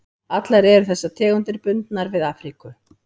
Allar eru þessar tegundir bundnar við Afríku.